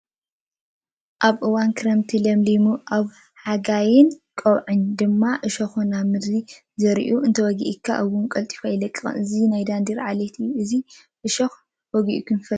ኣብ ክረምቲ እዋን ለምሊሙ ኣብ ቀውዕን ሓጋይን ድማ ዕኾኹ ናብ ምድሪ ዝዝራእን እንተወጊኡካ ውን ቀልጢፉ ኣይለቅቕን፣ እዚ ናይ ዳንዴር ዓሌት እዩ፡፡ ናይዚ ዕሾኽ እዚ ዶ ወጊኡኩም ይፈልጥ?